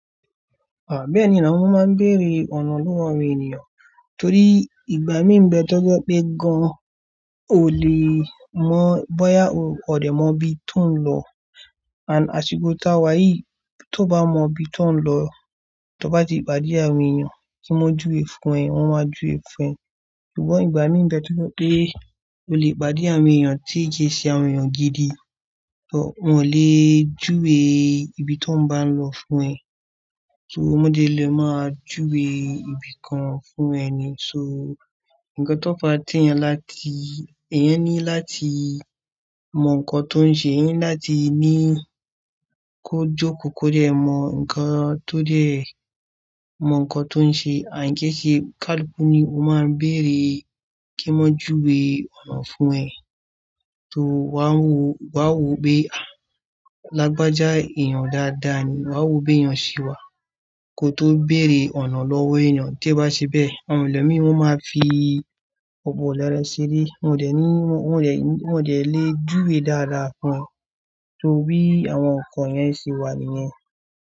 À, bẹ́ẹ̀ ni now, mo máa ń bèrè ọ̀nà lọ́wọ́ àwọn ènìyàn torí ìgbà míì nbẹ́ tọ́jọ́ pé gan o. Ò lè mọ bóyá ó ọ̀dẹ̀ mọ ibi tó ń lọ. Àn, asiko ta wá yìí, tó bá mọ ibi tó ń lọ, tó bá ti pàdé àwọn ènìyàn kí wọ́n júwe fún ẹ, wọ́n máa júwe fún ẹ. Ṣùgbọ́n ìgbà míì dẹ́ tun pé o lè ìpàdé àwọn ènìyàn tí jiṣe àwọn ènìyàn gidi, ṣùgbọ́n wọn ò lè júwe ibi tó ń bá ń lọ fún ẹ. Tọ́ọ́mọdé lè máa júwe ibìkan fún ẹ ni, so nǹkan tó bá ti yàn láti, ẹ̀yán ní láti mọ nǹkan tó ń ṣe, ẹ̀yán ní láti ní kó jókòó kó dẹ́ ẹ mọ nǹkan tó dẹ́ ẹ mọ nǹkan tó ń ṣe. Àìníkẹ́ṣe kálù ku ni o máa ń bèrè kí wọ́n júwe ọ̀nà fún ẹ. Tọ́ọ́ wá wò, wá wò pé, à, lágbájá èèyàn dáadáa ni, wá wò pé èèyàn ṣì wà. Kó tó bẹ̀re ọ̀nà lọ́wọ́ ènìyàn, tí ó bá ṣe bẹ́ẹ̀, àwọn ẹlòmíràn máa fi ọ̀bọ lẹ́ẹ́rẹ́ ṣeré. Wọn ò dẹ̀ ní, wọ́n ò dẹ̀, wọ́n ò dẹ̀ lè júwe dáadáa fún o torí àwọn nǹkan yẹn se wà nìyẹn.